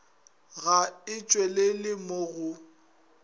ga e tšwelele mo go